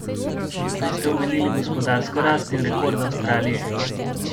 Prej ste omenili gospodarsko rast in rekord Avstralije.